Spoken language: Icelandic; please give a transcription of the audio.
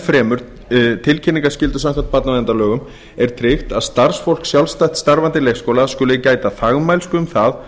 fremur tilkynningarskyldu samkvæmt barnaverndarlögum er tryggt að starfsfólk sjálfstætt starfandi grunnskóla skuli gæta þagmælsku um það